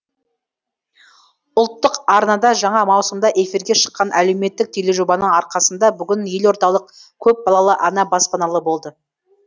ұлттық арнада жаңа маусымда эфирге шыққан әлеуметтік тележобаның арқасында бүгін елордалық көпбалалы ана баспаналы болды